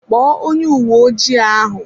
Kpọọ onye uwe ojii ahụ!